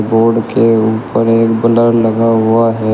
Board के ऊपर एक ब्लर लगा हुआ है।